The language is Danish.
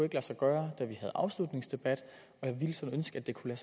lade sig gøre da vi havde afslutningsdebat og jeg ville sådan ønske at det kunne